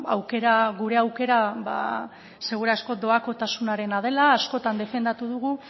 aukera gure aukera seguru asko doakotasunarena dela askotan defendatu dugu